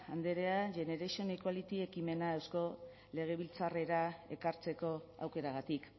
andrea generation equality ekimena eusko legebiltzarrera ekartzeko aukeragatik